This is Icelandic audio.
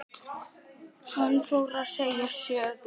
Hann fór að segja sögu.